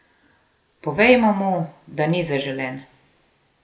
Povejmo mu, da ni zaželen!